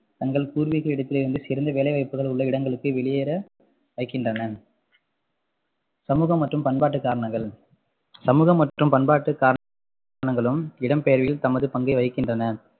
தங்கள் பூர்வீக இடத்திலிருந்து சிறந்த வேலைவாய்ப்புகள் உள்ள இடங்களுக்கு வெளியேற வைக்கின்றன சமூக மற்றும் பண்பாட்டு காரணங்கள் சமூக மற்றும் பண்பாட்டு காரணங்களும் இடம்பெயர்வில் தமது பங்கை வகிக்கின்றன